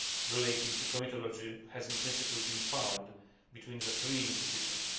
relating to comitology has, in principle, been found between the three institutions.